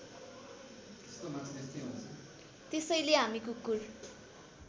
त्यसैले हामी कुकुर